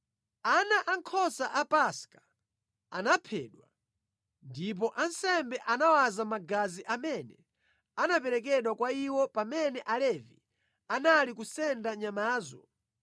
Ana ankhosa a Paska anaphedwa ndipo ansembe anawaza magazi amene anaperekedwa kwa iwo pamene Alevi anali kusenda nyamazo.